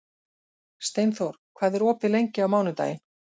Steinþór, hvað er opið lengi á mánudaginn?